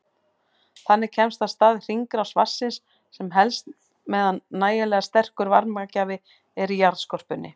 Þannig kemst af stað hringrás vatnsins sem helst meðan nægilega sterkur varmagjafi er í jarðskorpunni.